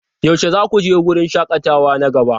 Yaushe za ku je wurin shakatawa na gaba?